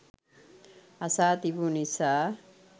අසා තිබු නිසා